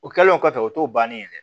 O kɛlen kɔfɛ o t'o bannen yɛrɛ